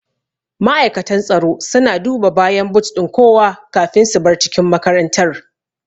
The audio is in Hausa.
Ma'aikatan tsaro suna duba bayan but ɗin kowa kafin su bar cikin makarantar